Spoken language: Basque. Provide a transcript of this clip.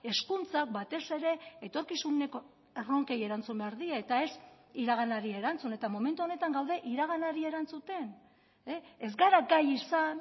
hezkuntza batez ere etorkizuneko erronkei erantzun behar die eta ez iraganari erantzun eta momentu honetan gaude iraganari erantzuten ez gara gai izan